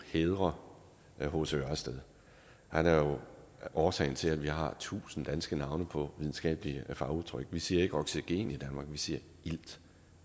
hædre hc ørsted han er jo årsagen til at vi har tusind danske navne på videnskabelige fagudtryk vi siger ikke oxygen i danmark vi siger ilt